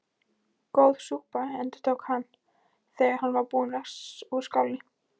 Góð súpa endurtók hann, þegar hann var búinn úr skálinni.